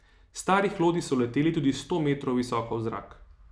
Stari hlodi so leteli tudi sto metrov visoko v zrak.